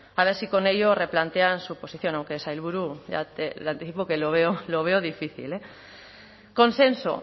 a ver si con ello replantean su posición aunque sailburu le anticipo que lo veo difícil consenso